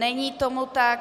Není tomu tak.